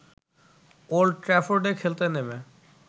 old ট্র্যাফোর্ডে খেলতে নেমে